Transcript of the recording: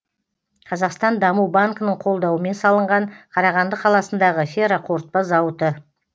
қазақстан даму банкінің қолдауымен салынған қарағанды қаласындағы ферроқорытпа зауыты